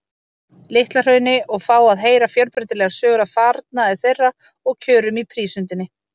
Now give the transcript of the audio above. Litla-Hrauni og fá að heyra fjölbreytilegar sögur af farnaði þeirra og kjörum í prísundinni.